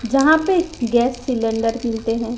जहां पे gas cylinder मिलते हैं।